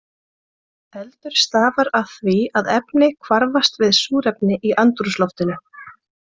Eldur stafar af því að efni hvarfast við súrefni í andrúmsloftinu.